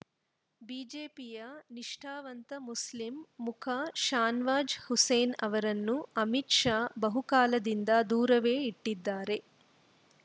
ಬಿಜೆಪಿಯ ನಿಷ್ಠಾವಂತ ಮುಸ್ಲಿಂ ಮುಖ ಶಾನವಾಜ್‌ ಹುಸೇನ್‌ ಅವರನ್ನು ಅಮಿತ್‌ ಶಾ ಬಹುಕಾಲದಿಂದ ದೂರವೇ ಇಟ್ಟಿದ್ದಾರೆ